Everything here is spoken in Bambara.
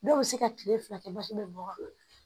Dɔw bɛ se ka kile fila kɛ basi bɛ bɔ a kɔnɔ